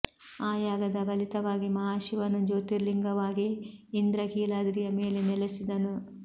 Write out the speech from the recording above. ಆ ಯಾಗದ ಫಲಿತವಾಗಿ ಮಹಾಶಿವನು ಜ್ಯೋತಿರ್ಲಿಂಗವಾಗಿ ಇಂದ್ರ ಕೀಲಾದ್ರಿಯ ಮೇಲೆ ನೆಲೆಸಿದನು